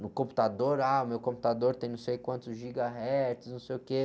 No computador, ah, meu computador tem não sei quantos gigahertz, não sei o quê.